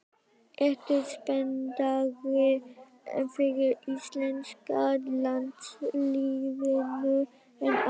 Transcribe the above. Ertu spenntari fyrir íslenska landsliðinu en áður?